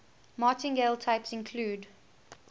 martingale types include